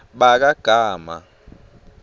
bakagama